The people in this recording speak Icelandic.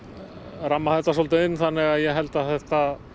ramma þetta inn þannig að ég held að þetta